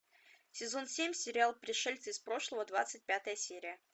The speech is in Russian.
сезон семь сериал пришельцы из прошлого двадцать пятая серия